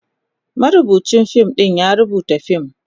marubucin fim ya rubuta fim,